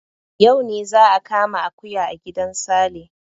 Yau ne za a kama akuya a gidan Sale.